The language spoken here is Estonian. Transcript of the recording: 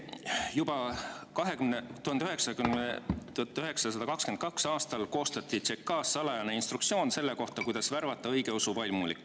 "Juba 1922. aastal koostati tshekaas salajane instruktsioon selle kohta, kuidas värvata õigeusu vaimulikke.